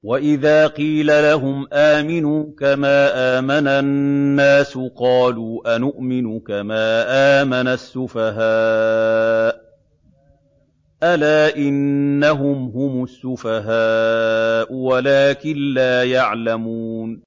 وَإِذَا قِيلَ لَهُمْ آمِنُوا كَمَا آمَنَ النَّاسُ قَالُوا أَنُؤْمِنُ كَمَا آمَنَ السُّفَهَاءُ ۗ أَلَا إِنَّهُمْ هُمُ السُّفَهَاءُ وَلَٰكِن لَّا يَعْلَمُونَ